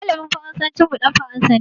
Malamin Faransancin mu dan Faransa ne.